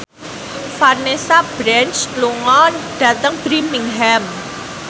Vanessa Branch lunga dhateng Birmingham